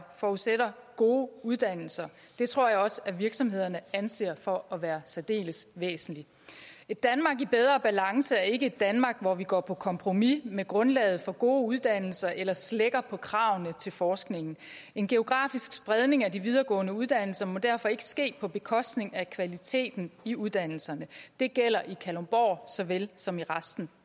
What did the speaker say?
forudsætter gode uddannelser og det tror jeg også virksomhederne anser for at være særdeles væsentligt et danmark i bedre balance er ikke et danmark hvor vi går på kompromis med grundlaget for gode uddannelser eller slækker på kravene til forskningen en geografisk spredning af de videregående uddannelser må derfor ikke ske på bekostning af kvaliteten i uddannelserne det gælder i kalundborg så vel som i resten